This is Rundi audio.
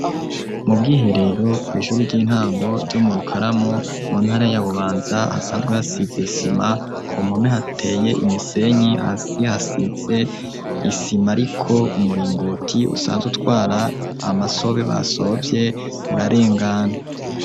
Mu bwiherero kw’ishure ry'intango ryo mu rukaramo mu ntara ya bubanza hasanzwe hasize isima ku mpumo hateye imisenyi hasi hasize isima ariko umuringoti usanzwe utwara amasobe basovye urarengana.